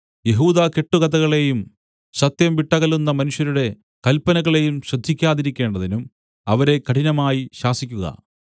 യെഹൂദകെട്ടുകഥകളെയും സത്യം വിട്ടകലുന്ന മനുഷ്യരുടെ കല്പനകളെയും ശ്രദ്ധിക്കാതിരിക്കേണ്ടതിനും അവരെ കഠിനമായി ശാസിക്കുക